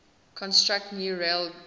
construct new railgauge